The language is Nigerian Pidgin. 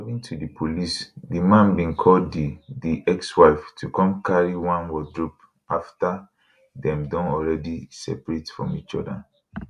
according to di police di man bin call di di ex wife to come carry one wardrobe afta dem don alreadi seperate from each oda